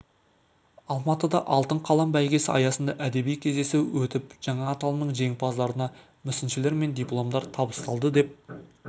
алматыда алтын қалам бәйгесі аясында әдеби кездесу өтіп жаңа аталымның жеңімпаздарына мүсіншелер мен дипломдар табысталды деп